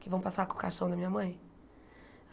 Que vão passar com o caixão da minha mãe.